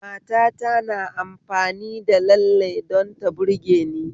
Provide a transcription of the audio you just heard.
Matata na amfani da lalle don ta burgeni